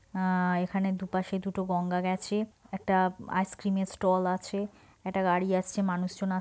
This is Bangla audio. আঃ এখানে দু পাশে দুটো গঙ্গা গেছে। একটা আইস ক্রিমের ষ্টল আছে। একটা গাড়ি আসছে। মানুষজন--